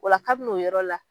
Ola kabini u yɔrɔ la.